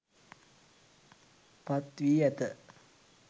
පත් වී ඇත